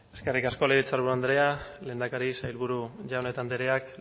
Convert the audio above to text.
eskerrik asko legebiltzaburu andrea lehendakari sailburu jaun eta andreak